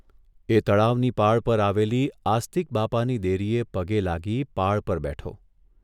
એ તળાવની પાળ પર આવેલી આસ્તિક બાપાની દેરીએ પગે લાગી પાળ પર બેઠો.